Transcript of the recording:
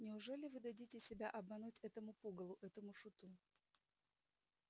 неужели вы дадите себя обмануть этому пугалу этому шуту